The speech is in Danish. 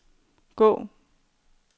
gå